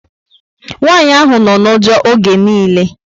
Nwanyị ahụ nọ na ụjọ oge nille